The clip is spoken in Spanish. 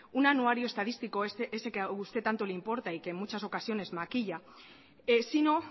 un anuario estadístico ese que ha usted tanto le importa y que en muchas ocasiones maquilla sino